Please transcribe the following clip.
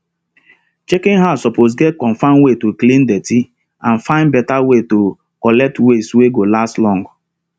chicken house suppose get comfirm way to clean dirty and find better way to collect waste wey go last long